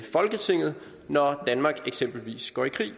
folketinget når danmark eksempelvis går i krig det